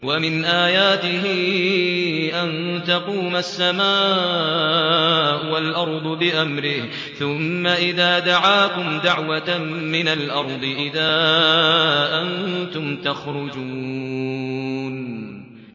وَمِنْ آيَاتِهِ أَن تَقُومَ السَّمَاءُ وَالْأَرْضُ بِأَمْرِهِ ۚ ثُمَّ إِذَا دَعَاكُمْ دَعْوَةً مِّنَ الْأَرْضِ إِذَا أَنتُمْ تَخْرُجُونَ